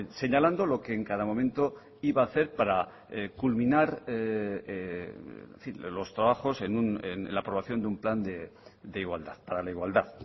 señalando lo que en cada momento iba a hacer para culminar los trabajos en la aprobación de un plan de igualdad para la igualdad